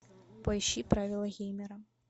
поищи правила геймера